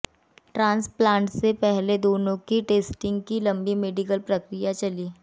transplant से पहले दोनों के टेस्टिंग की लंबी मेडिकल प्रक्रिया चली